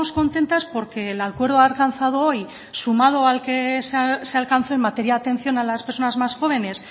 contentas porque el acuerdo alcanzado hoy sumado al que se alcanzó en materia de atención a las personas más jóvenes